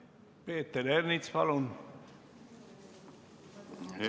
Peeter Ernits, palun!